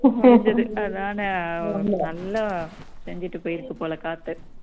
அதானே நல்ல செஞ்சுட்டு போயிருக்கு போல காத்து